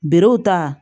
Berew ta